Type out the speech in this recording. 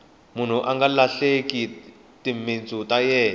munhu anga lahleki timintsu ta yena